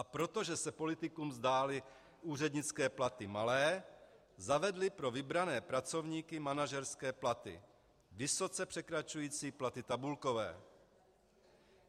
A protože se politikům zdály úřednické platy malé, zavedli pro vybrané pracovníky manažerské platy vysoce překračující platy tabulkové.